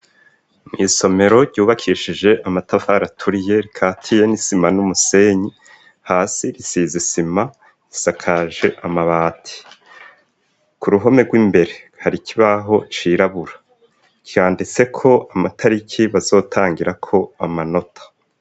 Mw'isomero ryubakishije amatafaraturiye rikatiye n'isima n'umusenyi hasi risize isima risakaje amabati ku ruhome rw'imbere hari ikibaho cirabura kiyanditse ko amatariki bazotangirako amanota.